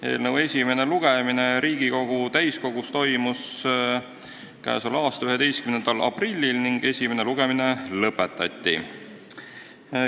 Eelnõu esimene lugemine Riigikogu täiskogus toimus 11. aprillil ning esimene lugemine lõpetati.